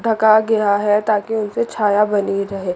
ढका गया है ताकि उनसे छाया बनी रहे।